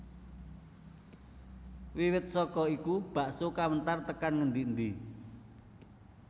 Wiwit saka iku bakso kawentar tekan ngendi endi